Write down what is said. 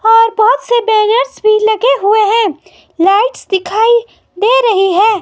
और बहोत से बैरियर्स भी लगे हुए हैं लाइट्स दिखाइ दे रही है।